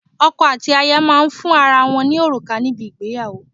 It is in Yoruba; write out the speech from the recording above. Ọkọ̀ àti aya máa ń fún ara wọn ní òrùka níbi ìgbéyàwó.